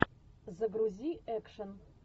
загрузи экшен